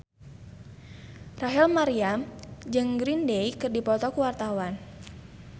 Rachel Maryam jeung Green Day keur dipoto ku wartawan